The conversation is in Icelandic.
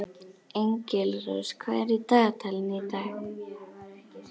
Engilrós, hvað er í dagatalinu í dag?